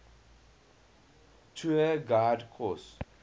tour guide course